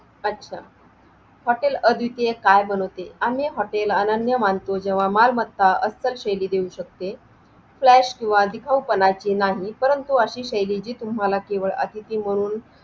अच्छा हॉटेल आदितर ते काय बनवते आणि हॉटेल अनन्य मानतो जेव्हा मालमत्ता असाल शेली देऊ शिकते Flash किंवा दिखाऊपणाचे नाही परंतु अशी शैली जी तुम्हाला केवळ अतिथी म्हणून